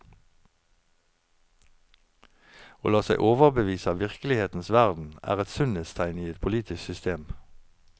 Å la seg overbevise av virkelighetens verden er et sunnhetstegn i et politisk system.